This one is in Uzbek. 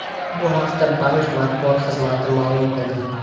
Bu haqda bank matbuot xizmati ma’lum qildi.